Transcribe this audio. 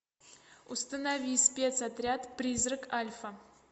установи спецотряд призрак альфа